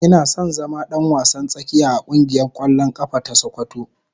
Ina son zama dan wasan tsakiya a kungiyar kwallon kafa ta sokoto.